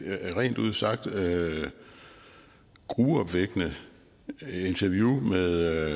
rent ud sagt gruopvækkende interview med